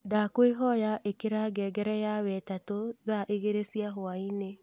ndakwīhoya īkira ngengere ya wetatū thaa igīrī cia hwaini